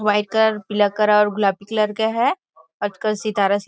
white colour पीला colour और गुलाबी कलर का है आजकल सितारा --